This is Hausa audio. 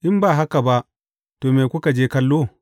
In ba haka ba, to, me kuka je kallo?